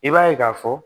I b'a ye k'a fɔ